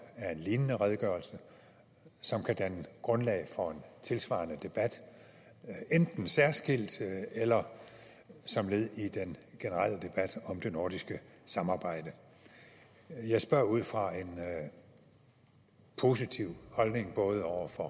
af en lignende redegørelse som kan danne grundlag for en tilsvarende debat enten særskilt eller som led i den generelle debat om det nordiske samarbejde jeg spørger ud fra en positiv holdning over for